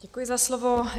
Děkuji za slovo.